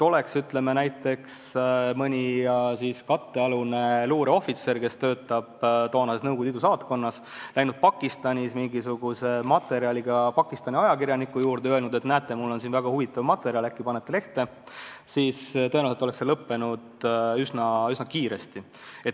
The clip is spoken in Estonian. Oleks, ütleme, mõni kattealune luureohvitser, kes töötas Nõukogude Liidu saatkonnas, läinud Pakistanis mingisuguse materjaliga Pakistani ajakirjaniku juurde ja öelnud, et näete, mul on siin väga huvitav materjal, äkki panete lehte, siis tõenäoliselt oleks see lõppenud üsna kiiresti.